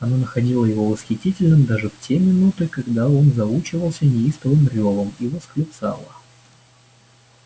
она находила его восхитительным даже в те минуты когда он заучивался неистовым рёвом и восклицала